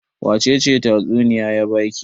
wacece tatsuniya ya ba ki?